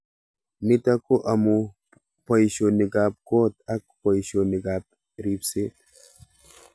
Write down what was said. Nitok ko amu poishonik ab kot ak poishinik ab ripset